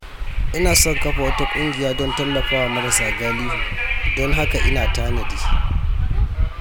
Ina son kafa wata ƙungiya don tallafa wa marasa galihu, don haka ina tanadi.